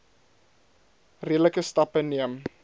redelike stappe neem